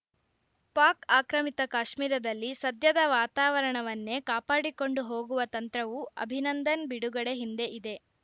ಪಾಕ್‌ ಆಕ್ರಮಿತ ಕಾಶ್ಮೀರದಲ್ಲಿ ಸದ್ಯದ ವಾತಾವರಣವನ್ನೇ ಕಾಪಾಡಿಕೊಂಡು ಹೋಗುವ ತಂತ್ರವೂ ಅಭಿನಂದನ್‌ ಬಿಡುಗಡೆ ಹಿಂದೆ ಇದೆ